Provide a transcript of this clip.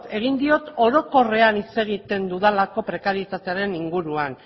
egin diot orokorrean hitz egiten dudalako prekarietatearen inguruan